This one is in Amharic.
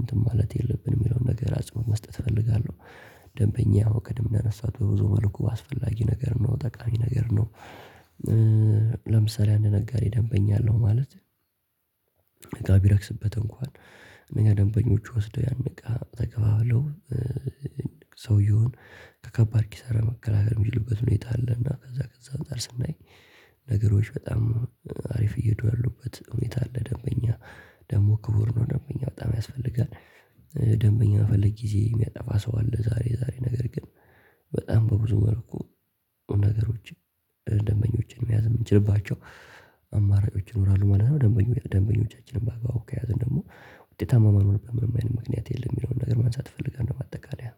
እንትን ማለት የለብንም የሚለውን ነገር አጽዕኖት መስጠት እፈልጋለሁ። ደምበኛ ያው ቅድም እንዳነሳሁት በብዙ መልኩ አስፈላጊ ነገር ነው። ጠቃሚ ነገር ነው። ለምሳሌ አንድ ነጋዴ ደንበኛ አለው ማለት እቃ ቢረክስበት እንኳን እነኛ ደንበኞቹ ወስደው ያን እቃ ተከፋፍለው ሰውየውን ከከባድ ኪሳራ መከላከል የሚችሉበት ሁኔታ አለና ከዛ ከዛ አንፃር ስናይ ነገሮች በጣም አሪፍ እየሄዱ ያሉበት ሁኔታ አለ። ደንበኛ ደግሞ ክቡር ነው። ደምበኛ በጣም ያስፈልጋል። ደምበኛ በመፈለግ ጊዜ የሚያጠፋ ሰው አለ ዛሬ ዛሬ። ነገር ግን በጣም በብዙ መልኩ ነገሮችን ደምበኞችን መያዝ የምንችልባቸው አማራጮች ይኖራሉ ማለት ነው። ደምበኞች ደንበኞቻችንን በአግባቡ ከያዘን ደግሞ ውጤታማ የማንሆንበት ምንም አይነት ምክንያት የለም የሚለውን ነገር ማንሳት እፈልጋለሁ ማጠቃለያ።